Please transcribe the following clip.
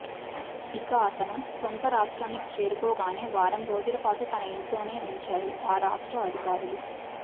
ఇక అతను సొంత రాష్ట్రానికి చేరుకోగానే వారం రోజుల పాటు తన ఇంట్లోనే ఉంచారు ఆ రాష్ట్ర అధికారులు